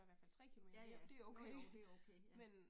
Ja ja, jo jo det okay ja